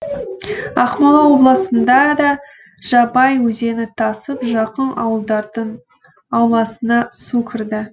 ақмола облысында да жабай өзені тасып жақын ауылдардың ауласына су кірді